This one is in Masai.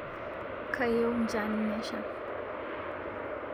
Kayieu njan nesha